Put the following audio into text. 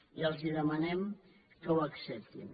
i els demanem que ho acceptin